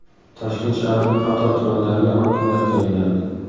Toshkent shahrining qator tumanlariga hokimlar tayinlandi.